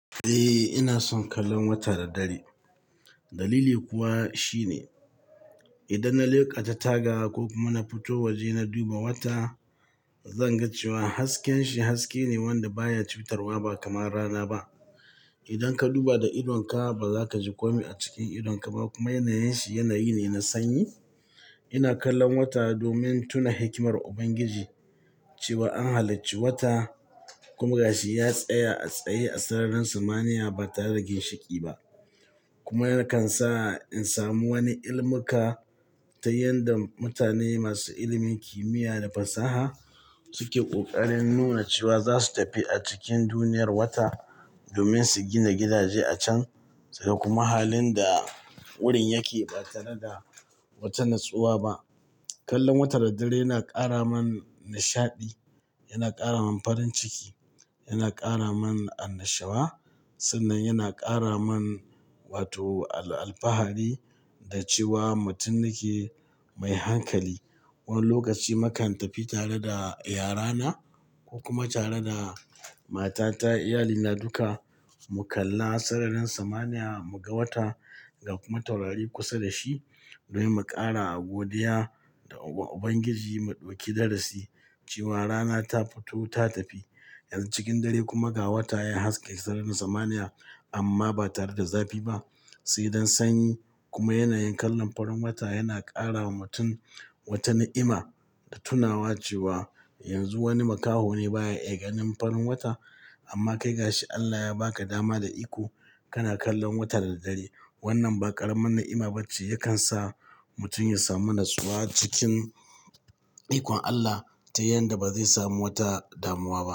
Eh, ina son kallon wata da dare. Dalili kuwa shine idan na leƙa ta taga ko kuma na fito waje na duba wata, zan ga cewa hasken shi haske ne wanda baya cutarwa ba kamar rana ba. Idan ka duba da idonka ba za ka ji komai a cikin idonka ba kuma yanayin shi yanayi ne na sanyi. Ina kallon wata domin tuna hikimar Ubangiji cewa an halicci wata kuma ga shi ya tsaya a tsaye a sararin samaniya ba tare da ginshiƙi ba. Kuma yakan sa in samu wani ilimuka ta yadda mutane masu ilimin kimiyya da fasaha suke ƙoƙarin nuna cewa za su tafi a cikin duniyar wata domin su gina gidaje a can. Sai kuma halin da wurin yake ba tare da wata nutsuwa ba. Kallon wata da dare yana ƙara man nishaɗi, yana ƙara man farin ciki, yana ƙara man annashuwa sannan yana ƙara man wato al-fahari da cewa mutum nake mai hankali. Wani lokaci mukan tafi tare da yarana, ko kuma tare da matata, iyalina duka mu kalla sararin samaniya mu ga watan ga kuma taurari kusa da shi domin mu ƙara godiya ga Ubangiji mu ɗauki darasi cewa rana ta fito ta tafi. Yanzu cikin dare kuma ga wata ya haske sararin samaniya amma ba tare da zafi ba. Sai don sanyi kuma yanayin kallon farin wata yana ƙara wa mutum wata ni'ima da tunawa cewa yanzu wani makaho ne baya iya ganin farin wata amma kai ga shi Allah ya ba ka dama da iko kana kallon wata da dare. Wannan ba ƙaramin ni'ima ba ce, yakan sa mutum ya samu nutsuwa cikin ikon Allah ta yanda ba zai samu wata damuwa ba.